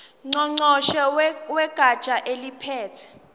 ngqongqoshe wegatsha eliphethe